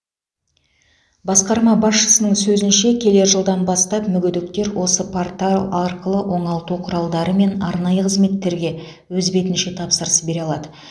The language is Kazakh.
басқарма басшысының сөзінше келер жылдан бастап мүгедектер осы портал арқылы оңалту құралдары мен арнайы қызметтерге өз бетінше тапсырыс бере алады